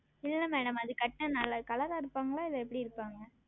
இல்லை Madam அது உடுத்தினால் நல்லா Color ஆ இருப்பார்களா இல்லை எப்படி இருப்பார்கள்